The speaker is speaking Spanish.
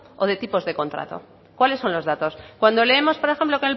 o de tipos de contrato cuáles son los datos cuando leemos por ejemplo